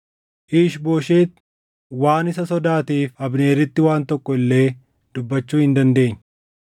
Iish-Booshet waan isa sodaateef Abneeritti waan tokko illee dubbachuu hin dandeenye.